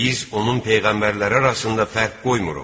Biz onun peyğəmbərləri arasında fərq qoymuruq.